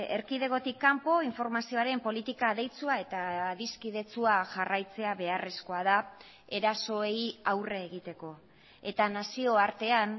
erkidegotik kanpo informazioaren politika adeitsua eta adiskidetsua jarraitzea beharrezkoa da erasoei aurre egiteko eta nazioartean